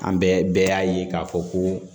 An bɛɛ y'a ye k'a fɔ ko